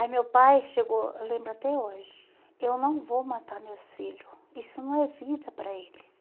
Aí meu pai chegou, eu lembro até hoje, eu não vou matar meus filhos, isso não é vida para eles.